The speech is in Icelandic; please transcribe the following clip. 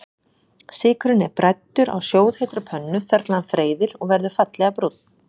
Sykurinn er bræddur á sjóðheitri pönnu þar til hann freyðir og verður fallega brúnn.